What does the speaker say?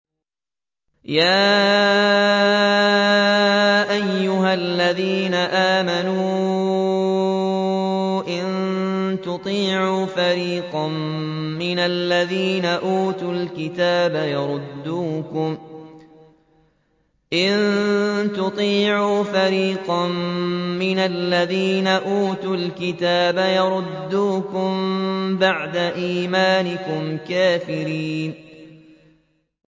يَا أَيُّهَا الَّذِينَ آمَنُوا إِن تُطِيعُوا فَرِيقًا مِّنَ الَّذِينَ أُوتُوا الْكِتَابَ يَرُدُّوكُم بَعْدَ إِيمَانِكُمْ كَافِرِينَ